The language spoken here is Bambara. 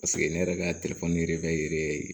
Paseke ne yɛrɛ ka yɛrɛ bɛ yɛrɛ ye